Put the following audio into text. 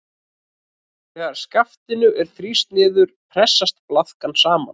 Þegar skaftinu er þrýst niður pressast blaðkan saman.